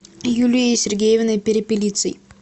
юлией сергеевной перепелицей